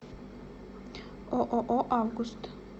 ооо август